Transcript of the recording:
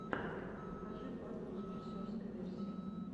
покажи батл режиссерской версии